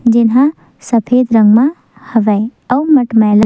जेन ह सफेद रंग म हवे अउ मटमैला --